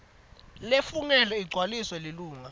lefungelwe igcwaliswa lilunga